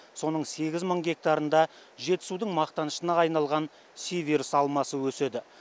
соның сегіз мың гектарында жетісудың мақтанышына айналған сиверс алмасы өседі